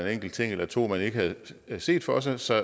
enkelt ting eller to man ikke havde set for sig så